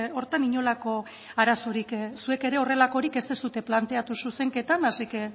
horretan inolako arazorik zuek ere horrelakorik ez duzue planteatu zuzenketan así que